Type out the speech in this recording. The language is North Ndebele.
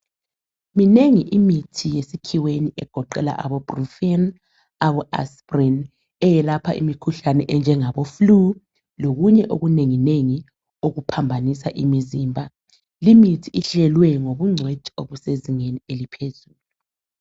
minengi imithi yesikhiweni egoqela abo brufen abo asprin yelapha imikhuhlane enjengabo flue lokunye okunengi nengi okuphambanisa imizimba limithi ihlelwe ngobungcitshi obusezingeni eliphezulu